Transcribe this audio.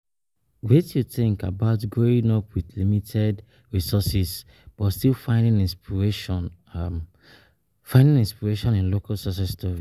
Wetin you think about growing up with limited resources but still finding inspiration finding inspiration in local success stories?